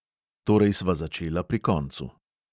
Torej sva začela pri koncu.